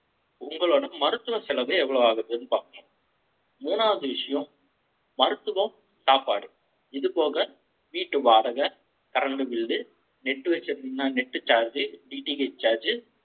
உங்களோட மருத்துவ செலவு, எவ்வளவு ஆகுதுன்னு பார்ப்போம். மூணாவது விஷயம், மருத்துவம், சாப்பாடு. இது போக, வீட்டு வாடகை, current bill, Net வச்சிருந்திங்கன net charge, DTHcharge